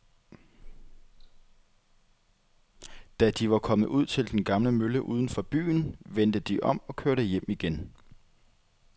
Da de var kommet ud til den gamle mølle uden for byen, vendte de om og kørte hjem igen.